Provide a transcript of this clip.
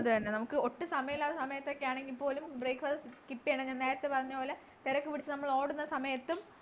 അതുതന്നെ നമുക്ക് ഒട്ടും സമയമില്ലാത്ത സമയത്തൊക്കെ ആണെങ്കില് പോലും breakfast skip ചെയ്യാണ്ട് നേരത്തെ പറഞ്ഞ പോലെ തെരക്ക്പിടിച്ചു നമ്മൾ ഓടുന്ന സമയത്തും